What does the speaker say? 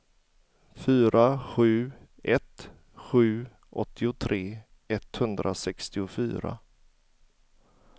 fyra sju ett sju åttiotre etthundrasextiofyra